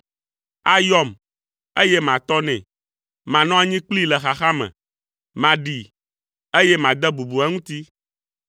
Ayɔm, eye matɔ nɛ; manɔ anyi kplii le xaxa me, maɖee, eye made bubu eŋuti.